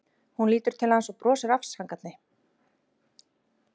Hún lítur til hans og brosir afsakandi.